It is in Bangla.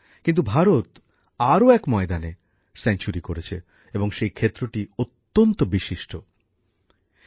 কিন্তু ভারত আরও এক ময়দানে সেঞ্চুরি করেছে এবং সেই ক্ষেত্রটি অত্যন্ত গুরুত্বপূর্ণ